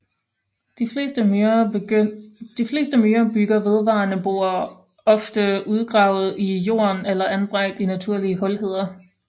De fleste myrer bygger vedvarende boer ofte udgravet i jorden eller anbragt i naturlige hulheder